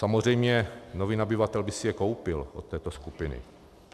Samozřejmě nový nabyvatel by si je koupil od této skupiny.